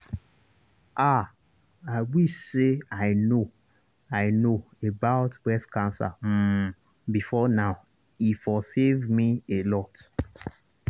ah i wish say i know i know about breast cancer um before now e for save me alot.